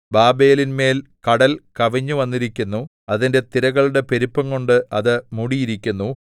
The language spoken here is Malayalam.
ബാബേലിന്മേൽ കടൽ കവിഞ്ഞുവന്നിരിക്കുന്നു അതിന്റെ തിരകളുടെ പെരുപ്പംകൊണ്ട് അത് മൂടിയിരിക്കുന്നു